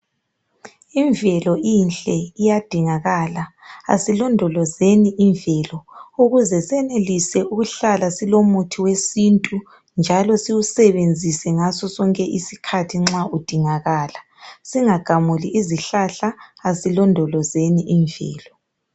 Imvelo inhle iyadingakala asilondolozeni imvelo ukuze senelise ukuhlala silomuthi wesintu njalo iwusebenzise ngaso sonke isikhathi nxa udingakala singagamuli izihlahla asilondolozeni imvelo.